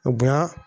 Bonya